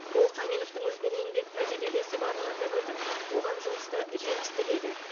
ол қаменовтің үлкен еңбек тәжірибесі барын атап өтіп оған жұмыста жеміс тіледі